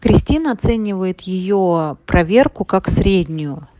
кристина оценивает её проверку как среднюю